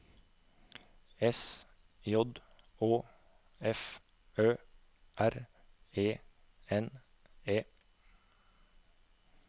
S J Å F Ø R E N E